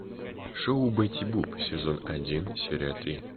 шоу бетти буп сезон один серия три